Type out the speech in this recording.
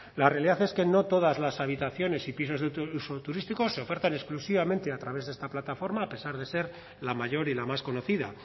la realidad es que no todas las habitaciones y pisos de uso turístico se ofertan exclusivamente a través de esta plataforma a pesar de ser la mayor y la más conocida